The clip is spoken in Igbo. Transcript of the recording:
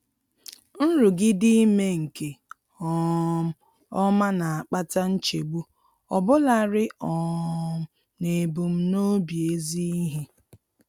Nrụgide ime nke um ọma na-akpata nchegbu, ọbụlarị um n'ebumnobi ezi ihe.